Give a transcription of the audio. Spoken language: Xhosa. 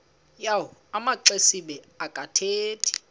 yawo amaxesibe akathethi